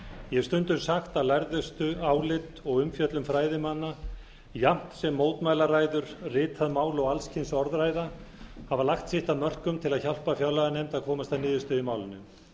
ég hef stundum sagt að lærðustu álit og umfjöllun fræðimanna jafnt sem mótmælaræður ritað mál og alls kyns orðræða hafa lagt sitt að mörkum til að hjálpa fjárlaganefnd að komast að niðurstöðu í málinu